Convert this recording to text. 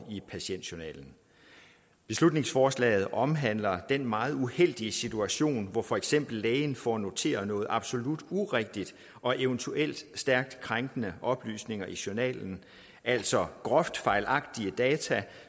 i patientjournalen beslutningsforslaget omhandler den meget uheldige situation hvor for eksempel lægen får noteret noget absolut urigtigt og eventuelt stærkt krænkende oplysninger i journalen altså groft fejlagtige data